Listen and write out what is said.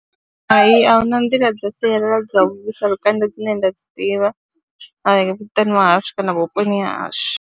Hai, a hu na nḓila dza sialala dza u vhuisa lukanda dzine nda dzi ḓivha muṱani wa hashu kana vhuponi ha hashu.